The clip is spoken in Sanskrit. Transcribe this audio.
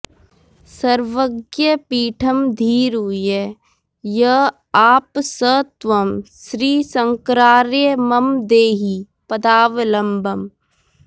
सर्वज्ञपीठमधिरुह्य य आप स त्वं श्रीशङ्करार्य मम देहि पदावलम्बम्